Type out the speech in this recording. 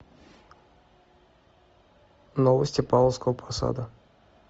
новости павловского посада